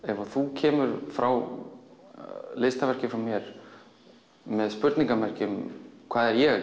ef þú kemur frá listaverki frá mér með spurningamerki um hvað er ég